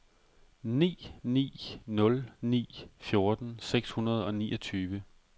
ni ni nul ni fjorten seks hundrede og niogtyve